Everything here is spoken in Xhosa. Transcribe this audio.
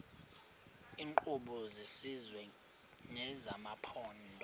iinkqubo zesizwe nezamaphondo